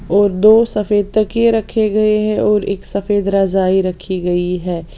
और दो सफेद तकिए रखे गए हैं और एक सफेद रजाई रखी गई है।